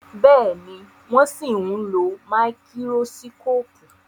Béèni wón sìn ló Máíkírósíkópù.